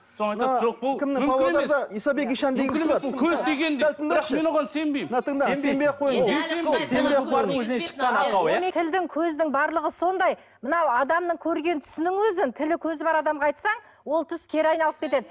тілдің көздің барлығы сондай мынау адамның көрген түсінің өзін тілі көзі бар адамға айтсаң ол түс кері айналып кетеді